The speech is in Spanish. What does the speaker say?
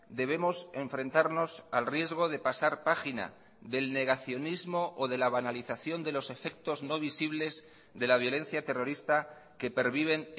debemos enfrentarnos al riesgo de pasar página del negacionismo o de la banalización de los efectos no visibles de la violencia terrorista que perviven